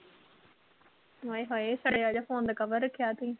ਆਏ ਹਾਏ ਸੜਿਆ ਜਿਹਾ phone ਦਾ cover ਰੱਖਿਆ ਤੁੰ